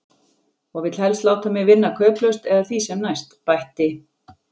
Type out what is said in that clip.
Og vill helst láta mig vinna kauplaust eða því sem næst, bætti